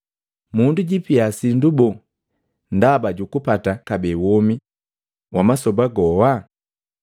Mundu jiipia sindu boo ndaba jukupata kabee womi wa masoba goa?